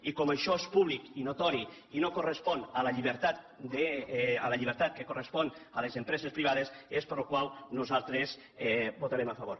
i com això és públic i notori i no correspon a la llibertat que correspon a les empreses privades nosaltres hi votarem a favor